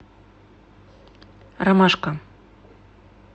ромашка